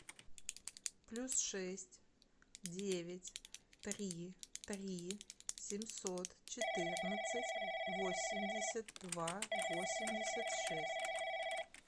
плюс шесть девять три три семьсот четырнадцать восемьдесят два восемьдесят шесть